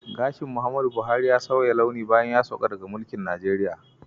Gashi Muhammadu Buhari ya sauya launi bayan ya sauka daga mulkin Najeriya.